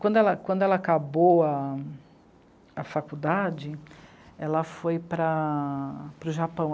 Quando ela, quando ela acabou a... a faculdade, ela foi para... para o Japão.